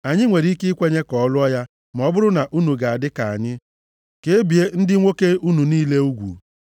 Anyị nwere ike ikwenye ka ọ lụọ ya ma ọ bụrụ na unu ga-adị ka anyị, ka e bie ndị nwoke unu niile ugwu.